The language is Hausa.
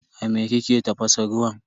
A me kike tafasa ruwan?